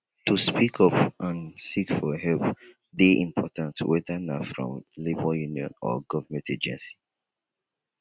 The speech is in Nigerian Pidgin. to speak up and seek for help dey important whether na from labor union or government agency